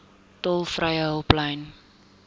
tolvrye hulplyn